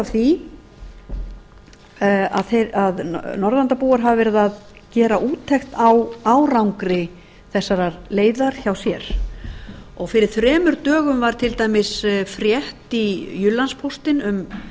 því að norðurlandabúar hafi verið að gera úttekt á árangri þessarar leiðar hjá sér fyrir þremur dögum að til dæmis frétt í jyllandsposten um